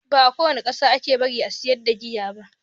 Ba a kowane ƙasa ake bari a sayar da giya ba.